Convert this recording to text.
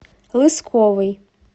лысковой